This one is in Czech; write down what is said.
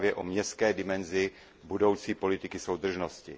ke zprávě o městské dimenzi budoucí politiky soudržnosti.